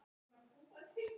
Og lesa.